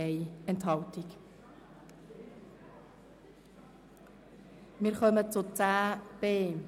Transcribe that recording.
Stellenabbau: Zentralverwaltung (Massnahme 48.3.4): Ablehnen der Massnahme.